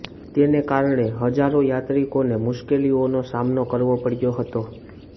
તેને કારણે હજારો યાત્રિકોને મુશ્કેલીઓનો સામનો કરવો પડ્યો હતો